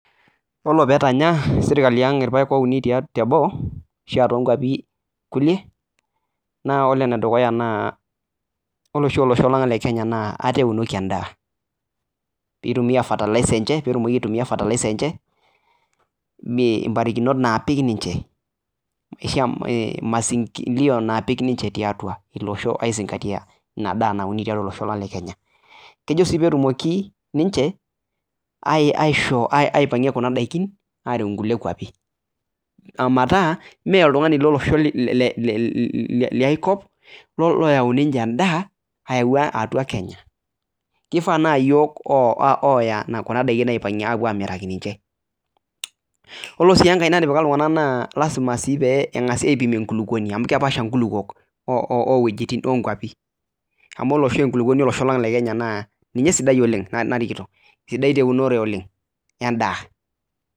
Ore pee etanya sirkali ipayek ouni teboo naa, ore oshi olosho lang le Kenya naa ate eunoki edaa pee etumoki aitumia fatalisa enye, masingio naapik niche kejo sii pee etumoki niche metaa me olosho le Kenya me olosho liai kop keyau niche edaa atua Kenya aipagie aamiraki niche , naa ilasima sii pee ipimi enkulupuoni olosho lang tiatua aji .